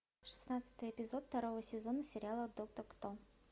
шестнадцатый эпизод второго сезона сериала доктор кто